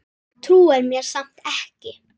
Trúir mér samt ekki.